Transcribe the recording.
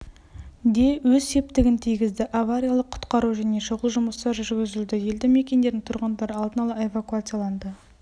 де өз септігін тигізді авариялық-құтқару және шұғыл жұмыстар жүргізілді елді мекендердің тұрғындары алдын ала эвакуацияланды